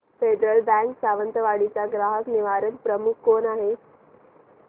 federal bank Sawantwadi चा ग्राहक निवारण प्रमुख कोण आहे